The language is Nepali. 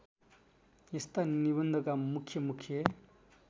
यस्ता निबन्धका मुख्यमुख्य